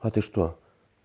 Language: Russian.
а ты что